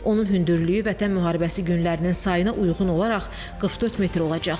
Onun hündürlüyü Vətən müharibəsi günlərinin sayına uyğun olaraq 44 metr olacaq.